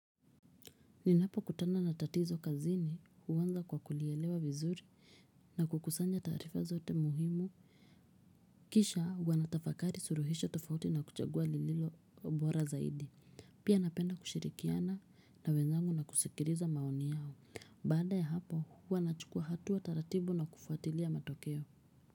Ninapokutana na tatizo kazini huanza kwa kulielewa vizuri na kukusanya taarifa zote muhimu. Kisha huwa natafakari suluhisho tofauti na kuchagua lililo bora zaidi. Pia napenda kushirikiana na wenzangu na kusikiliza maoni yao. Baada ya hapo huwa nachukuwa hatua taratbu na kufuatilia matokeo.